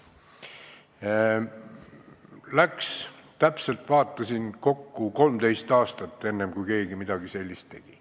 Vaatasin, et läks kokku täpselt 13 aastat, enne kui keegi midagi sellist tegi.